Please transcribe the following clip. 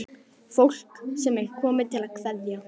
Fólk sem er komið til að kveðja.